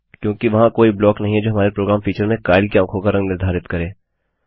क्योंकि वहाँ कोई ब्लॉक नहीं है जो हमारे प्रोग्राम फीचर में काइल की आँखों का रंग निर्धारित करे